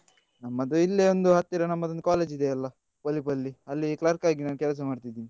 ನಮ್ಮದು ಇಲ್ಲೆ ಒಂದು ಹತ್ತಿರ ನಮ್ಮದೊಂದು college ಇದೆಯಲ್ಲ ಪೊಲಿಪಲ್ಲಿ ಅಲ್ಲಿ clerk ಆಗಿ ನಾನ್ ಕೆಲಸ ಮಾಡ್ತಾ ಇದ್ದೀನಿ.